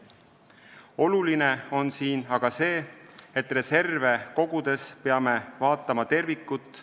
Oluline on siin aga see, et reserve kogudes peame vaatama tervikut.